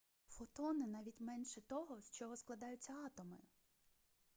фотони навіть менше того з чого складаються атоми